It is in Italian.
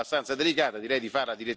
Il dibattito deve ancora cominciare.